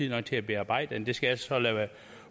nok til at bearbejde det jeg skal så lade være